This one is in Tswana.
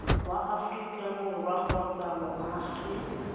wa aforika borwa kgotsa moagi